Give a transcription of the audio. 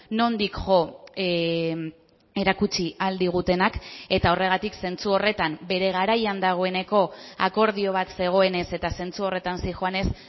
nondik jo erakutsi ahal digutenak eta horregatik zentzu horretan bere garaian dagoeneko akordio bat zegoenez eta zentzu horretan zihoanez